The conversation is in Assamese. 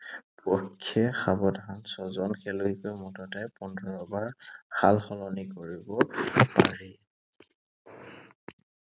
পক্ষে সাৱধান ছয়জন খেলুৱৈক মুঠতে পোন্ধৰবাৰ সালসলনি কৰিব পাৰি।